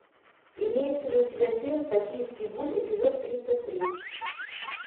имеется ли у тебя фильм токийский гуль эпизод тридцать три